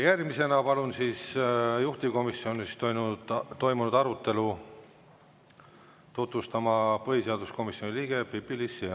Järgmisena palun juhtivkomisjonis toimunud arutelu tutvustama põhiseaduskomisjoni liikme Pipi-Liis Siemanni.